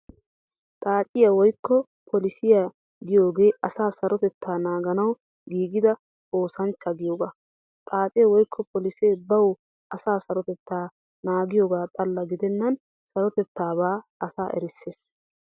Xaaciyaa woykko polisiyaa giyoogee asaa sarotettaa naaganawu giigida oosanchcha giyoogaa . Xaacee woykko polisee bawu asaa sarotettaa naagiyoogaa xalla gidennan sarotettaabaa asa erissees.